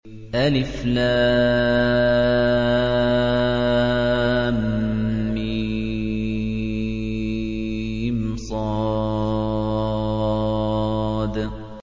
المص